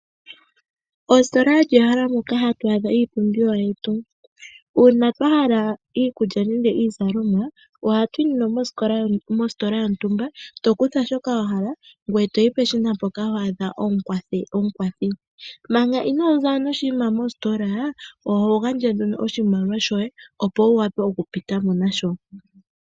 Ositola olyo ehala moka ha tu adha iipumbiwa yetu. Uuna aantu ya hala iikulya nenge iizalomwa ohaa yi nduno mositola yontumba e taa kutha shoka ya hala yo taa yi peshina mpono hapu kala omukwathi. Manga inoozamo noshinima mositola oho futu nduno oshimaliwa shoye opo wu wape oku pitamo nasho.